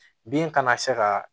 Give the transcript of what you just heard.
Bin kana se ka